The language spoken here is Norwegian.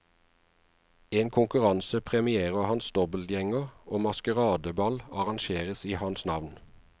En konkurranse premierer hans dobbeltgjenger og maskeradeball arrangeres i hans navn.